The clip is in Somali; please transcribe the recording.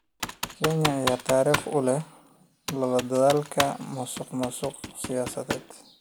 Kenya ayaa taariikh u leh la dagaalanka musuqmaasuqa siyaasadda.